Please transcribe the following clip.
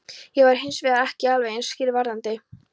Ég var hins vegar ekki alveg eins skýr varðandi